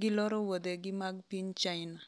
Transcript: ,giloro wuodhegi mag piny China